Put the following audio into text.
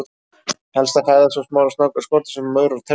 Helsta fæða svo smárra snáka eru skordýr svo sem maurar og termítar.